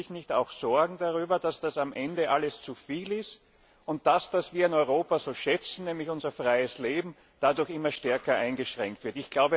Machen Sie sich nicht auch Sorgen darüber, dass das am Ende alles zuviel ist und dass das, was wir an Europa so schätzen, nämlich unser freies Leben, dadurch immer stärker eingeschränkt wird?